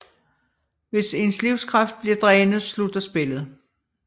Hvis ens livskraft bliver drænet slutter spillet